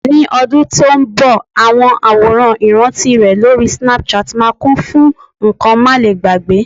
ní ọdún tí o nbọ, awọn aworan iranti rè lori Snapchat ma kún fún nkan malegbagbe